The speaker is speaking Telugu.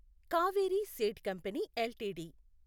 Kaveri seed company LTD